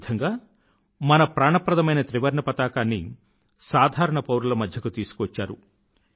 ఈ విధంగా మన ప్రాణప్రదమైన త్రివర్ణపతాకాన్ని సాధారణ పౌరుల మధ్యకు తీసుకువచ్చారు